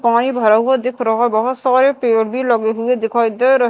पानी भरा हुआ दिख रहा बहोत सारे पेड़ भी लगे हुए दिखाई दे रह--